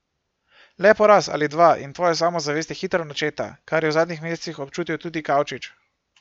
Le poraz ali dva in tvoja samozavest je hitro načeta, kar je v zadnjih mesecih občutil tudi Kavčič.